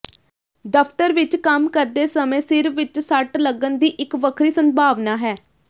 ਦਫਤਰ ਵਿਚ ਕੰਮ ਕਰਦੇ ਸਮੇਂ ਸਿਰ ਵਿਚ ਸੱਟ ਲੱਗਣ ਦੀ ਇਕ ਵੱਖਰੀ ਸੰਭਾਵਨਾ ਹੈ